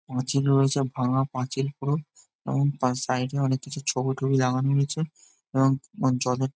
পাঁচিল রয়েছে ভাঙা পাঁচিল পুরো এবং তার সাইড -এ অনেককিছু ছবি টবি লাগানো হয়েছে এবং আ জলের--